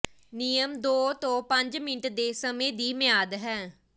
ਨਿਯਮ ਦੋ ਤੋਂ ਪੰਜ ਮਿੰਟ ਦੇ ਸਮੇਂ ਦੀ ਮਿਆਦ ਹੈ